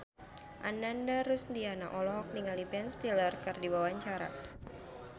Ananda Rusdiana olohok ningali Ben Stiller keur diwawancara